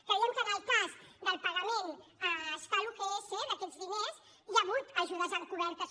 creiem que en el cas del pagament a escal ugs d’aquests diners hi ha hagut ajudes encobertes